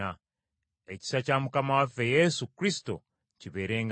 Ekisa kya Mukama waffe Yesu Kristo kibeerenga nammwe.